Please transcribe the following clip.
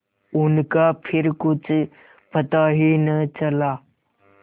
उनका फिर कुछ पता ही न चला